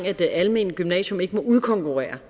at det almene gymnasium ikke må udkonkurrere